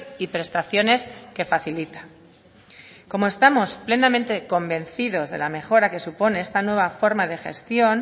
y prestaciones que facilita como estamos plenamente convencidos de la mejora que supone esta nueva forma de gestión